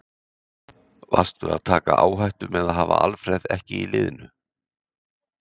Varstu að taka áhættu með að hafa Alfreð ekki í liðinu?